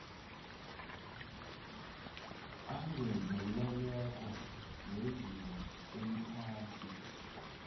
angezelelweko wezinga eliphasi